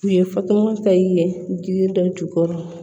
U ye fatumata i ye jiri dɔ jukɔrɔ